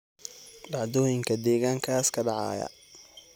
dhacdooyinka deegaankaas ka dhacaya